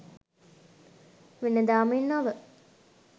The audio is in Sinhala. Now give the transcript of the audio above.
වෙනදා මෙන් නොව